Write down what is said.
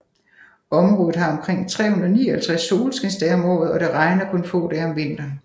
Området har omkring 359 solskinsdage om året og det regner kun få dage om vinteren